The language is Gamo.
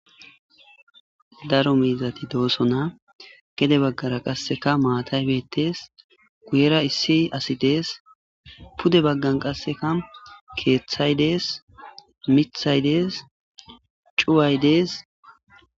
Daro miizati dooso na gede baggara qasseka maataybettees guyera issi asidees pude baggan qasseka keeththaydees mithaydees cuwaydees.